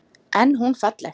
En hún er falleg.